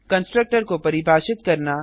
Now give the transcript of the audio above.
constructor को परिभाषित करना